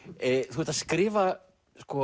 þú ert að skrifa